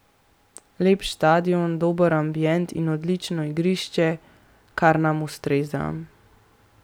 Lep štadion, dober ambient in odlično igrišče, kar nam ustreza.